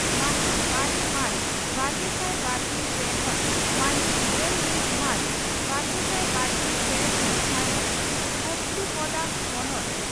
ᱢᱟᱦᱤᱛ ᱟᱨᱮ ᱢᱟᱨᱪ ᱵᱟᱨᱜᱮᱥᱟᱭ ᱵᱟᱨᱜᱮᱞ ᱯᱮ ᱠᱷᱚᱱ ᱢᱟᱦᱤᱛ ᱜᱮᱞ ᱢᱤᱛ ᱢᱟᱨᱪ ᱵᱟᱨᱜᱮᱥᱟᱭ ᱵᱟᱨᱜᱮᱞ ᱯᱮ ᱦᱤᱛ ᱫᱷᱟᱹᱨᱤᱡ ᱠᱚᱯᱛᱤᱯᱚᱫᱟ ᱵᱚᱱᱚᱛ